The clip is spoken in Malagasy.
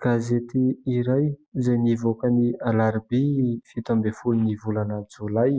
Gazety iray izay nivoaka ny alarobia ny fito ambin'ny folo ny volana jolay